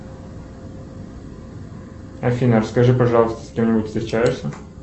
афина расскажи пожалуйста с кем нибудь встречаешься